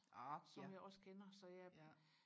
ork ja ja